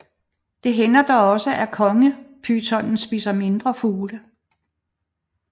Det hænder dog også at kongepytonen spiser mindre fugle